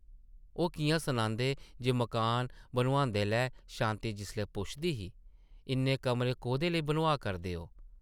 ओह् किʼयां सनांदे जे मकान बनोआंदे’लै शांति जिसलै पुछदी ही, ‘‘इन्ने कमरे कोह्दे लेई बनोआऽ करदे ओ ?’’